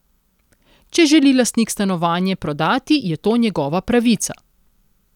Če želi lastnik stanovanje prodati je to njegova pravica.